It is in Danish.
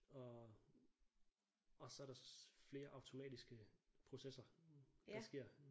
Og og så der flere automatiske processer der sker